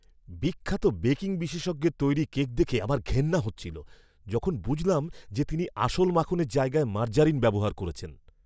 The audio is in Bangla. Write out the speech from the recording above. বিখ্যাত বেকিং বিশেষজ্ঞের তৈরি কেক দেখে আমার ঘেন্না হচ্ছিল যখন বুঝলাম যে, তিনি আসল মাখনের জায়গায় মার্জারিন ব্যবহার করেছেন।